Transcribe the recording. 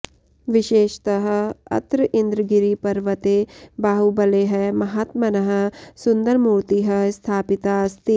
विशेषतः अत्र इन्द्रगिरिपर्वते बाहुबलेः महात्मनः सुन्दरमूर्तिः स्थापिता अस्ति